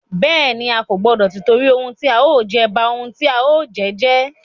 Bẹ́ẹ̀ni, A kò gbọdọ tìtorí ohun tí a ó jẹ, ba ohun tí a ó jẹ́ jẹ́.